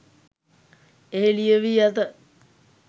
එහි ලියවී ඇත